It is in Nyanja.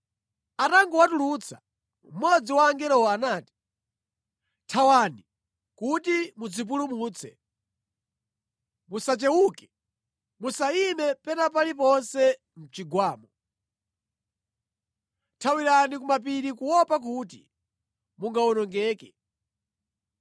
Atangowatulutsa, mmodzi wa angelowo anati, “Thawani kuti mudzipulumutse, musachewuke, musayime pena paliponse mʼchigwamo! Thawirani ku mapiri kuopa kuti mungawonongeke!”